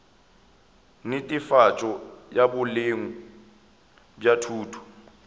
netefatšo ya boleng bja thuto